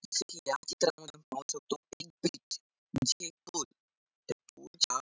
जस कि या चित्रामध्ये आपण पाहू शकतो कि ब्रिज म्हणजे एक पूल त्या पूलच्या --